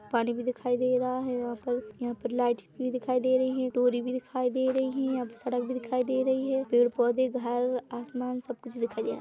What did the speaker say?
पानी भी दिखाई दे रहा है यहाँ पर यहाँ पर लाइट भी दिखाई दे रही है तुरी भी दिखाई दे रही है सड़क भी दिखाई दे रही है पेड़ पौधे घर आसमान सब कुछ भी दिखाई दे रहा है।